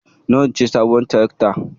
Nawa ce sabuwar tirakta?